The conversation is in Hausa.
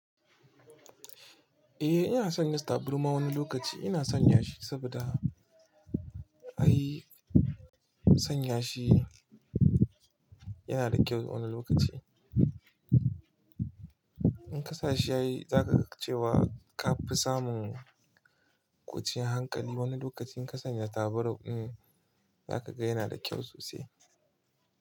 Eh ina sanya tarbama wani lokaci. Ina son ya shi saboda ai san ya shi yana da kyau wani lokaci. In ka sashi a yi za ka ga cewa ka fi samun kwan cin hankali wani lokacin ka sanya taba rauƙin za ka ga yana da kyau sosai.